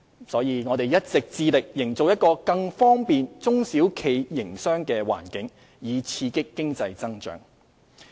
因此，我們一直致力營造一個更方便中小企營商的環境，以刺激經濟增長。